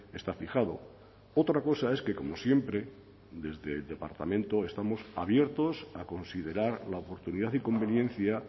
está fijado otra cosa es que como siempre desde el departamento estamos abiertos a considerar la oportunidad y conveniencia